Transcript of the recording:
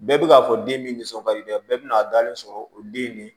Bɛɛ bɛ k'a fɔ den min nisɔn ka di dɛ bɛɛ bɛ n'a dalen sɔrɔ o den de